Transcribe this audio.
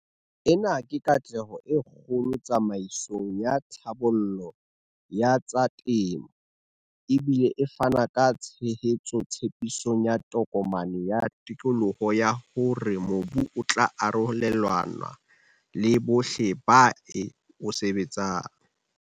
Ena ke katleho e kgolo tsamaisong ya tlhabollo ya tsa temo, e bile e fana ka tshehetso tshepisong ya Tokomane ya Tokoloho ya hore mobu o tla arolelanwa le bohle ba o sebetsang.